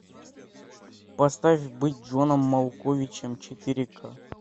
поставь быть джоном малковичем четыре ка